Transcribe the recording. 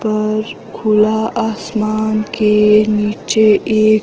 पर और खुला आसमान के नीचे एक --